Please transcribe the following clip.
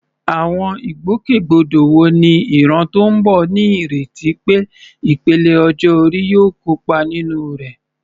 Àwọn ìgbòkègbodò wo ni ìran tó ń bọ̀ ní ìrètí pé ìpele ọjọ́ orí yóò kópa nínú rẹ̀?